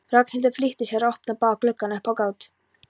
Ragnhildur flýtti sér að opna báða gluggana upp á gátt.